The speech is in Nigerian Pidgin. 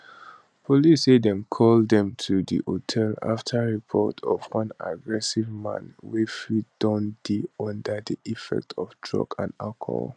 police say dem call dem to di hotel after reports of one aggressive man wey fit don dey under di effects of drugs and alcohol